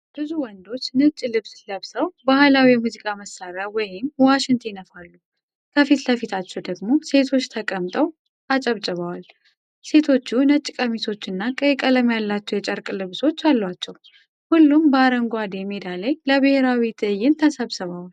ብዙ ወንዶች ነጭ ልብስ ለብሰው ባህላዊ የሙዚቃ መሳሪያ (ዋሽንት) ይነፋሉ። ከፊት ለፊታቸው ደግሞ ሴቶች ተቀምጠው አጨብጭበዋል። ሴቶቹ ነጭ ቀሚሶችና ቀይ ቀለም ያላቸው የጨርቅ ልብሶች አላቸው። ሁሉም በአረንጓዴ ሜዳ ላይ ለብሔራዊ ትዕይንት ተሰብስበዋል።